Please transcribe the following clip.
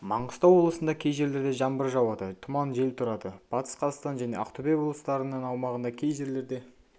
маңғыстау облысында кей жерлерде жаңбыр жауады тұман жел тұрады батыс қазақстан және ақтөбе облыстарыныңаумағында кей жерлерде